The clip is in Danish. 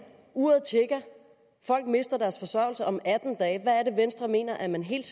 uret tikker folk mister deres forsørgelse om atten dage hvad er det venstre mener at man helt